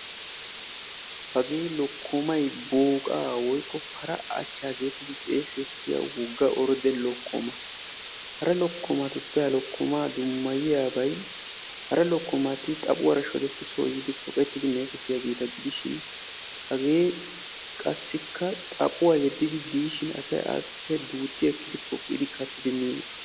hagee lokkomay booqaa woykko para acha geetettidi xeesittiyaa wogga orde lokkoma. hara lokkumatuppe ha lokkomaa dummayiyaabay hara lokkomati xaphuwara shodettidi soo yiidi miyogeeta gidishin, hagge qassikka xaphuwa yeddidi diishin asay appe poqqidi miyoogaa.